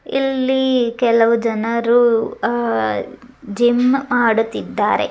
ಇಲ್ಲಿ ಕೆಲವು ಜನರು ಅಹ್ ಜಿಮ್ ಮಾಡುತ್ತಿದ್ದಾರೆ.